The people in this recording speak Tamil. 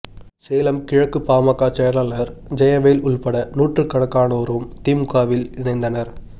சேலம் கிழக்கு பாமக செயலாளர் ஜெயவேல் உள்பட நூற்றுக்கணக்கானோரும் திமுகவில் இணைந்தனர்